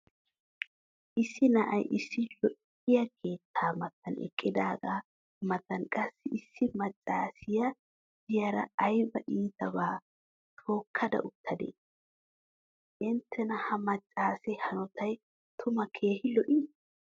issi na"ay issi lo'iyaa keettaa matan eqqidaagaa matan qassi issi macaassiya diyaara ayba iitiyaabaa tookkaa utadee? intenna ha macaassee hanottay tumma keehi lo'ii?